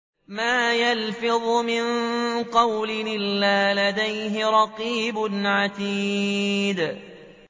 مَّا يَلْفِظُ مِن قَوْلٍ إِلَّا لَدَيْهِ رَقِيبٌ عَتِيدٌ